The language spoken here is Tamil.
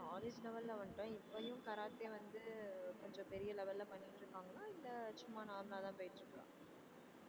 college level ல வந்துட்டோம் இப்பையும் கராத்தே வந்து கொஞ்சம் பெரிய level ல பண்ணிட்டு இருக்காங்களா இல்ல சும்மா normal லா தான் போயிட்டு இருக்கா